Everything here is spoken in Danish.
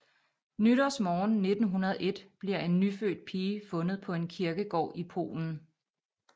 Nytårsmorgen 1901 bliver en nyfødt pige fundet på en kirkegård i Polen